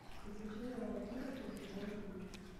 приключения папируса сезон три